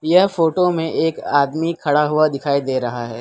यह फोटो में एक आदमी खड़ा हुआ दिखाई दे रहा है।